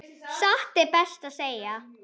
Satt best að segja.